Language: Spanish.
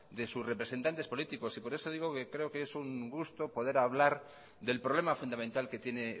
de su representantes políticos y por eso digo que creo que es un gusto poder hablar del problema fundamental que tiene